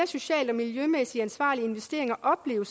socialt og miljømæssigt mere ansvarlige investeringer oplever